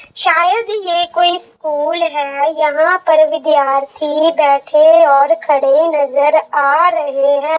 शायद ये कोई स्कुल है यहा पर विद्यार्थी बेठे और खड़े नजर आ रहे है।